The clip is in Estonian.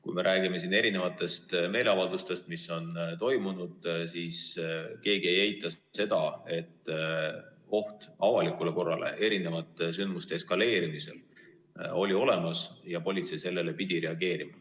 Kui me räägime siin erinevatest meeleavaldustest, mis on toimunud, siis keegi ei eita seda, et oht avalikule korrale erinevate sündmuste eskaleerumisel oli olemas ja politsei pidi sellele reageerima.